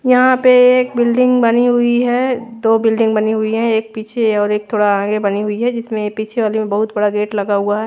यहां पे एक बिल्डिंग बनी हुई है दो बिल्डिंग बनी हुई है एक पीछे और एक थोड़ा आगे बनी हुई है जिसमें पीछे वाली में बहुत बड़ा गेट लगा हुआ है।